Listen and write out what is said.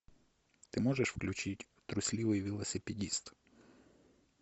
ты можешь включить трусливый велосипедист